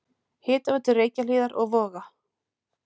Hitaveitu Reykjahlíðar og Voga.